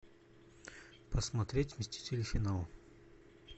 посмотреть мстители финал